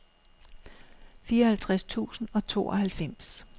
fireoghalvtreds tusind og tooghalvfems